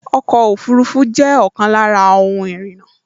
Ọkọ̀ ọfurufú jẹ́ ọ̀kan lára ohun ìrìnnà